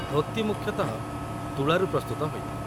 ଧୋତି ମୁଖ୍ୟତଃ ତୁଳାରୁ ପ୍ରସ୍ତୁତ ହୋଇଥାଏ